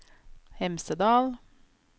Hemsedal